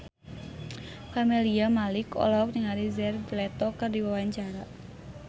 Camelia Malik olohok ningali Jared Leto keur diwawancara